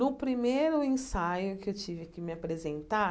No primeiro ensaio que eu tive que me apresentar,